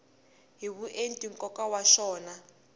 hi vuenti nkoka wa xona